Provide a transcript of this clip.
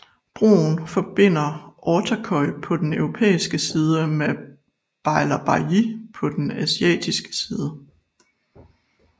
Broen forbinder Ortaköy på den europæiske side med Beylerbeyi på den asiatiske side